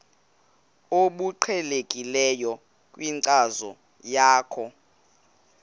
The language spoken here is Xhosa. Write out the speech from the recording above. obuqhelekileyo kwinkcazo yakho